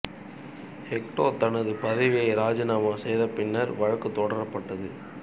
ஹெக்டே தனது பதவியை ராஜிநாமா செய்த பின்னர் வழக்கு தொடரப்பட்டது